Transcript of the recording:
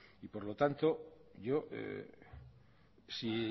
y por lo tanto yo si